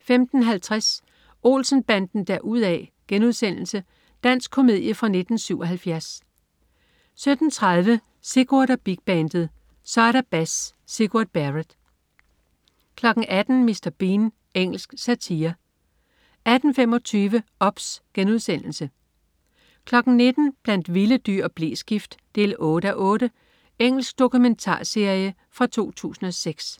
15.50 Olsen-banden deruda'.* Dansk komedie fra 1977 17.30 Sigurd og Big Bandet. Så er der bas! Sigurd Barrett 18.00 Mr. Bean. Engelsk satire 18.25 OBS* 19.00 Blandt vilde dyr og bleskift 8:8. Engelsk dokumentarserie fra 2006